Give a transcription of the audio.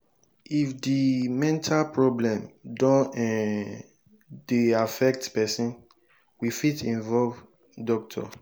if di mental problem don um dey affect person we fit involve doctor